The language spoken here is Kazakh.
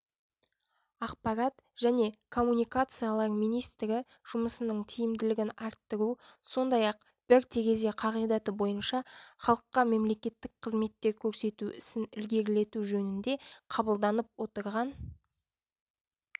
ақпарат және коммуникациялар министрі жұмысының тиімділігін арттыру сондай-ақ бір терезе қағидаты бойынша халыққа мемлекеттік қызметтер көрсету ісін ілгерілету жөнінде қабылданып отырған